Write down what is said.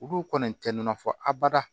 Olu kɔni tɛ nɔnɔ fɔ abada